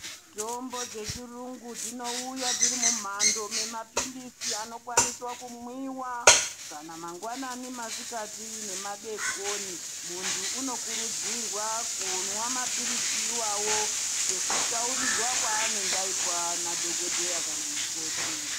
Mitombo dzechirungu dzinouya dzirimumhando yemapiritsi anokwanisa kumwiwa kana mangwanani, masikati nemadekoni. Muntu unokurudzirwa kumwa mapiritsi iwawo sekutaurirwa kwaanege aitwa na dhokodheya kana mukoti.